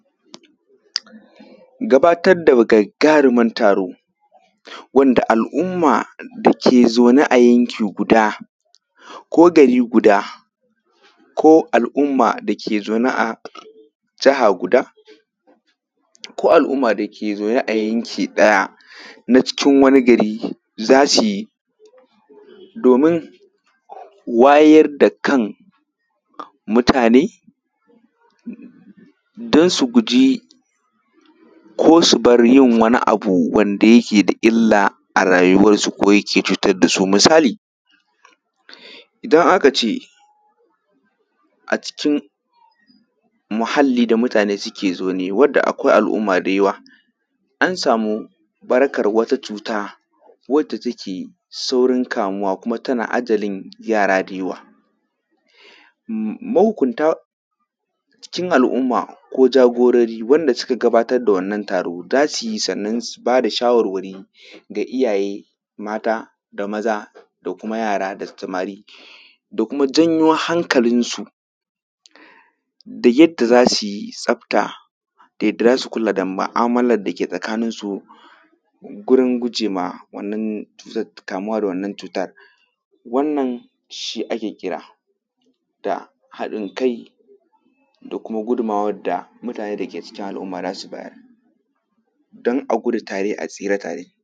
Gabatar da gagaruman taro wanda al'umma da ke zaune a yanki guda ko gari guda ko al'umma da ke zaune a jiha guda ko al'umma da ke zaune a yanki ɗaya na cikin wani gari za su yi domin wayar dakan mutane don su guji ko su bar yin wani abu wanda yake da illa arayuwa suko yake cutar dasu misali idon akace a cikin muhalli da mutane suke zaune wadda akwai al'uuma da yawa an samu ɓarkar wata cuta wadda take saurin kamuwa kuma tana ajalin yara da yawa mahunkunta cikin al'umma ko jagorori wanda suka gabatar da wannan taro za su yi sanan su bada shawarwari ga iyaye mata da maza da kuma yara da samari da kuma janyo hankalinsu da yadda za su yi tsafta da yadda za su kula da mu'amalar da ke tsakaninsu gurin guje ma wannan cuta da ta kamuwa da wannan cuta wannan shi ake kira da haɗin kai da kuma gudumawar da mutane mutane da ke cikin al'uma za su bayar don a gudu tare a tsira tare.